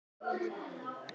Hvar er hægt að byrja?